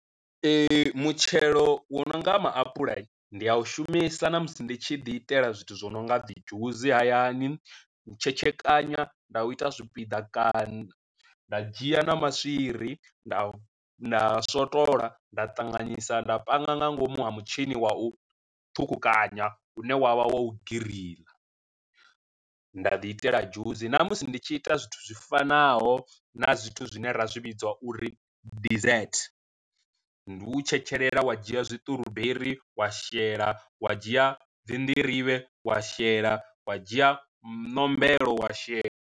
Mutshelo wo no nga maapuḽa ndi a u shumesa na musi ndi tshi ḓi itela zwithu zwo no nga dzi dzhusi hayani, u tshetshekanya nda u ita zwipiḓa kana nda dzhia na maswiri nda nda swotola nda ṱanganisa nda panga nga ngomu ha mutshini wa u ṱhukhukanya une wavha wa u giriḽa, nda ḓi itela dzhusi. Na musi ndi tshi ita zwithu zwi fanaho na zwithu zwine ra zwi vhidza uri desert, ndi u tshetshelela wa dzhia zwiṱuruberi wa shela wa dzhia dzi nḓirivhe wa shela wa dzhia ṋombelo wa shela.